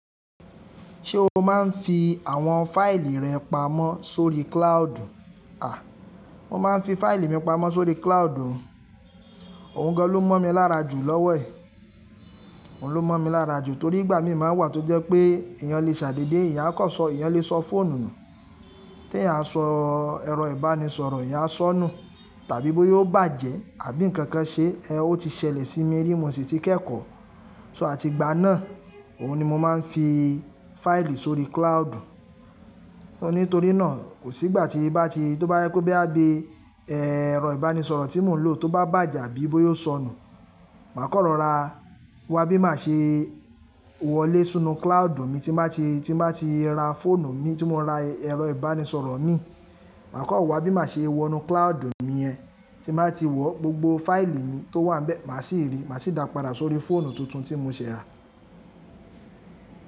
Ṣé o máa ń fi àwọn fáìlì rẹ pamọ́ sórí cloud? À, mo máa ń fi fáìlì mi pamọ́ sórí cloud. Ohun gan ló mọ̀ mí lára jù lọ́wọ́ ẹ̀. Òun ló mọ̀ mí lára jù torí ìgbà mí máa ń wà tó jẹ́ pé eeyàn lè ṣàdédé, eeyán a kọ̀ sọ, eeyàn lè sọ fóònù nù. Tí eeyán a sọ ẹrọ ìbánisọ̀rọ̀ eeyán a sọ nù tàbí bóyá ó bàjẹ́ àbí ǹkankan ṣe, ẹ́ o ti ṣẹlẹ̀ sí mí ní bí mo sì ti kẹ́kọ̀ọ́. So a ti gbá náà, òhun ni mo máa ń fi fáìlì sórí cloud. Ó ní torí náà kò sí ìgbà tí bá ti, tó bá yá kó bí a bí ẹrọ ìbánisọ̀rọ̀ tí mò ń lò tó bá bàjẹ́ àbí bóyá ó sọnù, màá kan rọ̀ra wá bí màá ṣe wọlé sinnu cloud mi tí màá ti, tí màá ti ra fóònù mi tí mò ń ra ẹrọ ìbánisọ̀rọ̀ mi. Màá kan wá bí màá ṣe wọnú cloud mi yẹn, tí nbá ti wọ̀ gbogbo fáìlì mi tó wà níbẹ̀, màá sì rí, màá sì dápadà sórí fóònù tuntun tí mo ṣe ra.